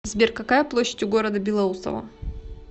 сбер какая площадь у города белоусово